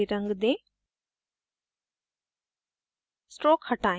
इसे gray रंग दें